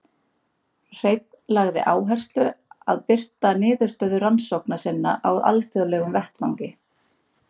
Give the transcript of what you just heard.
Hreinn lagði áherslu að birta niðurstöður rannsókna sinna á alþjóðlegum vettvangi.